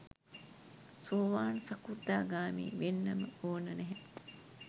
සෝවාන් සකෘදාගාමී වෙන්නම ඕන නැහැ.